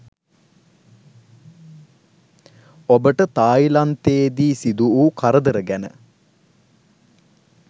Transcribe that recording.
ඔබට තායිලන්තේදී සිදු වූ කරදර ගැන